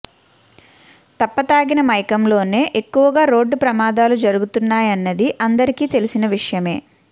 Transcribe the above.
తప్పతాగిన మైకంలోనే ఎక్కువగా రోడ్డు ప్రమాదాలు జరుగుతున్నాయన్నది అందరికీ తెల్సిన విషయమే